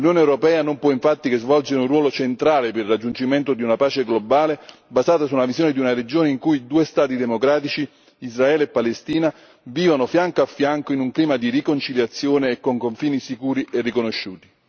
L'Unione europea non può, infatti, che svolgere un ruolo centrale per il raggiungimento di una pace globale, basata su una visione di una regione in cui due Stati democratici, Israele e Palestina, vivono fianco a fianco in un clima di riconciliazione e con confini sicuri e riconosciuti.